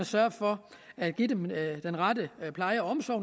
sørge for at give dem den rette pleje og omsorg